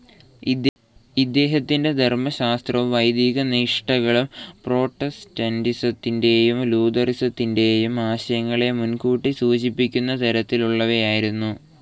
ഇദ്ദേഹത്തിന്റെ ധർമശാസ്ത്രവും വൈദിക നിഷ്ഠകളും പ്രൊട്ടസ്റ്റന്റിസത്തിന്റെയും ലൂഥറനിസത്തിന്റെയും ആശയങ്ങളെ മുൻകൂട്ടി സൂചിപ്പിക്കുന്ന തരത്തിലുള്ളവയായിരുന്നു.